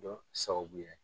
jɔn sababu ye.